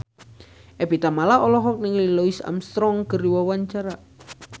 Evie Tamala olohok ningali Louis Armstrong keur diwawancara